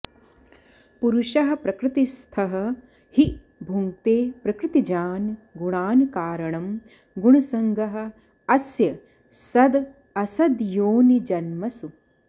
पुरुषः प्रकृतिस्थः हि भुङ्क्ते प्रकृतिजान् गुणान् कारणं गुणसङ्गः अस्य सदसद्योनिजन्मसु